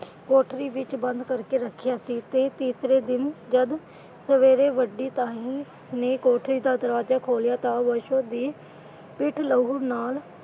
ਕੋਠੜੀ ਵਿੱਚ ਬੰਦ ਕਰਕੇ ਰੱਖਿਆ ਸੀ ਤੇ ਤੀਸਰੇ ਦਿਨ ਜਦ ਸਵੇਰੇ ਵੱਡੀ ਤਾਈ ਨੇ ਕੋਠੜੀ ਦਾ ਦਰਵਾਜ਼ਾ ਖੋਲ੍ਹਿਆ ਤਾਂ ਬਸੋ ਦੀ ਪਿੱਠ ਲਹੂ ਨਾਲ।